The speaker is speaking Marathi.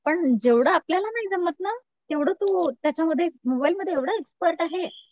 पण जेवढं आपल्याला नाही जमत ना तेवढं तो त्याच्यामध्ये मोबाईलमध्ये एवढा एक्सपर्ट आहे.